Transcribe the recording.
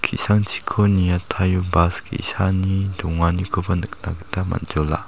ki·sangchiko niataio bas ge·sani donganikoba nikna gita man·jola.